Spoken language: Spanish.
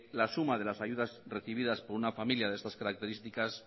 la suma de las ayudas recibidas por una familia de estas características